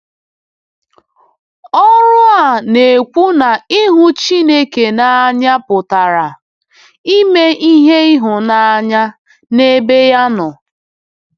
Ọrụ a na-ekwu na ịhụ Chineke n’anya pụtara “ime ihe ịhụnanya” n’ebe ya nọ.